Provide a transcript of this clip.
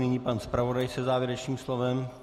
Nyní pan zpravodaj se závěrečným slovem.